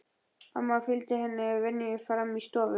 Amma fylgir henni að venju fram í forstofu.